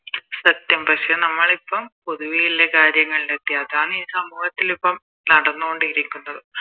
സത്യം പക്ഷെ നമ്മളിപ്പോം പൊതുവെയുള്ള കാര്യങ്ങളിലെത്തി അതാന്ന് ഈ സംഭവത്തിലിപ്പോ നടന്നോണ്ടിരിക്കുന്നത്